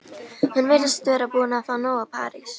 Hún virðist vera búin að fá nóg af París.